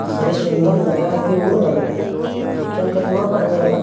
बड़ी सुन्दर लगय हय की उड़ रहले देखे में केतना बढ़यां लग --